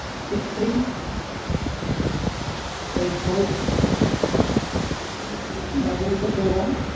Six three eight four Double two one,